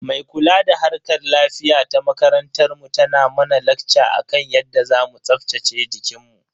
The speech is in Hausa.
Mai kula da harkar lafiya ta makarantar mu tana mana lakca akan yadda zamu tsaftace jikinmu.